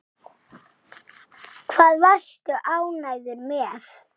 Hvað varstu ánægður með?